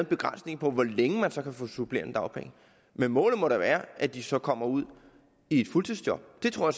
begrænsning på hvor længe man kan få supplerende dagpenge men målet må da være at de så kommer ud i et fuldtidsjob det tror